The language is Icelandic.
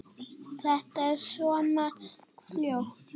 Þetta er svo margt fólk.